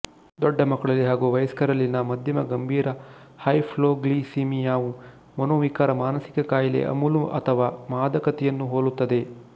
ದೊಡ್ಡ ಮಕ್ಕಳಲ್ಲಿ ಹಾಗೂ ವಯಸ್ಕರಲ್ಲಿನ ಮಧ್ಯಮ ಗಂಭೀರ ಹೈಪೊಗ್ಲಿಸಿಮಿಯಾವು ಮನೋವಿಕಾರ ಮಾನಸಿಕ ಖಾಯಿಲೆ ಅಮಲು ಅಥವಾ ಮಾದಕತೆಯನ್ನು ಹೋಲುತ್ತದೆ